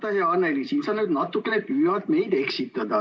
Vaata, hea Anneli, siin sa nüüd natukene püüad meid eksitada.